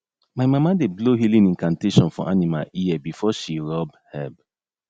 my mama dey blow healing incantation for animal ear before she rub herb